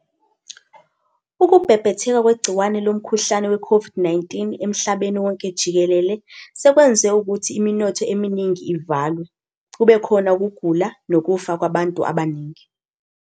Ukubhebhetheka kwegciwane lomkhuhlane we-COVID-19 emhlabeni wonke jikelele, sekwenze ukuthi iminotho eminingi ivalwe, kube khona ukugula nokufa kwabantu abaningi.